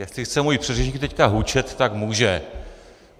Jestli chce můj předřečník teď hučet, tak může.